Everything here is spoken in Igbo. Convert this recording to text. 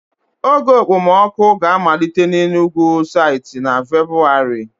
Oge okpomọkụ ga-amalite n'Enugwu site na Febuwari.